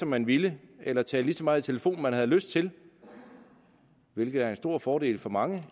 man vil eller tale lige så meget i telefon man har lyst til hvilket er en stor fordel for mange